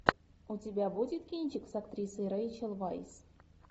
у тебя будет кинчик с актрисой рэйчел вайс